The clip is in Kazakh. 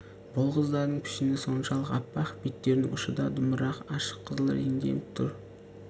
бұл қыздардың пішіні соншалық аппақ беттерінің ұшы да дымырақ ашық қызыл реңденіп тұр